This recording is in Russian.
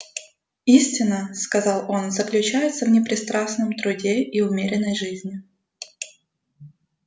истина сказал он заключается в непрестанном труде и умеренной жизни